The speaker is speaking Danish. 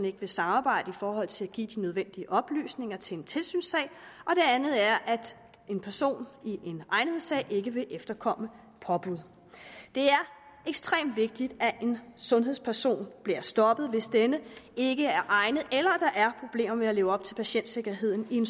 ikke vil samarbejde i forhold til at give de nødvendige oplysninger til en tilsynssag og det andet er at en person i en egnethedssag ikke vil efterkomme påbud det er ekstremt vigtigt at en sundhedsperson bliver stoppet hvis denne ikke er egnet eller der er problemer med at leve op til patientsikkerheden i en